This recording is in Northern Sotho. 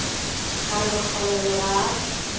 ka re mokgalabje ga a